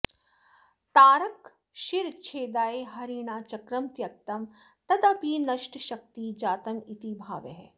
तारकशिरश्छेदाय हरिणा चक्रं त्यक्तं तदपि नष्टशक्ति जातमिति भावः